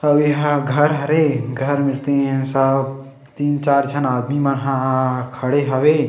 अऊ एहा घर हरे घर मेर तीन सब तीन चार झन आदमी मन ह खड़े हवे।